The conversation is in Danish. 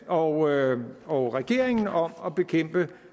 og og regeringen om at bekæmpe